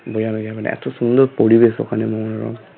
বোঝানো যাবে না এতো সুন্দর পরিবেশ ওখানে